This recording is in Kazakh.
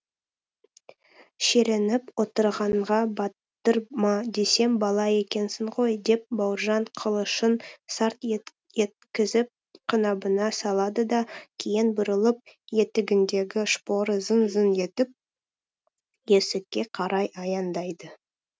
шіреніп отырғанға батыр ма десем бала екенсің ғой деп бауыржан қылышын сарт еткізіп қынабына салады да кейін бұрылып етігіндегі шпоры зың зың етіп есікке қарай аяңдайды